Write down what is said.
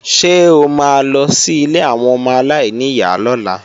Ṣé o ma lọ sí ilé àwọn ọmọ aláìníyá lọ́la?